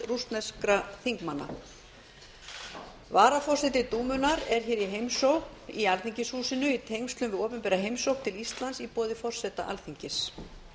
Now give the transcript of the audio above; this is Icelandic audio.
rússneskra þingmanna varaforseti dúmunnar er í heimsókn í alþingishúsinu í tengslum við opinbera heimsókn til íslands í boði forseta alþingis